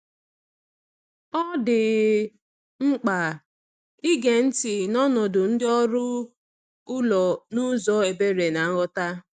Ọ dị mkpa ige ntị n’ọnọdụ ndị ọrụ ụlọ n’ụzọ ebere na nghọta.